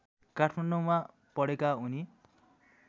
काठमाडौँमा पढेका उनी